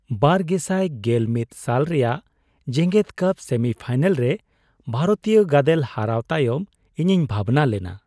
᱒᱐᱑᱑ ᱥᱟᱞ ᱨᱮᱭᱟᱜ ᱡᱮᱜᱮᱫ ᱠᱟᱯ ᱥᱮᱢᱤᱯᱷᱟᱭᱱᱮᱞ ᱨᱮ ᱵᱷᱟᱨᱚᱛᱤᱭᱚ ᱜᱟᱫᱮᱞ ᱦᱟᱨᱟᱣ ᱛᱟᱭᱚᱢ ᱤᱧᱤᱧ ᱵᱷᱟᱵᱽᱱᱟ ᱞᱮᱱᱟ ᱾